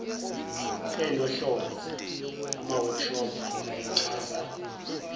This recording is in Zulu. enohlonze amaworkshop ayechaza